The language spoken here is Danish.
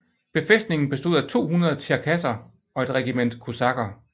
Befæstningen bestod af 200 tjerkasser og et regiment kosakker